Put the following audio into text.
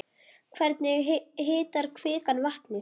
Hvernig hitar kvikan vatnið?